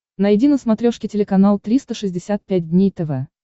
найди на смотрешке телеканал триста шестьдесят пять дней тв